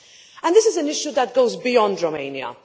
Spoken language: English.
And this is an issue that goes beyond Romania.